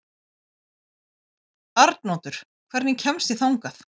Arnoddur, hvernig kemst ég þangað?